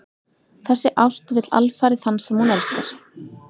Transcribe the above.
Þessi ást vill alfarið þann sem hún elskar.